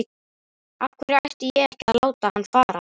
Af hverju ætti ég að láta hann fara?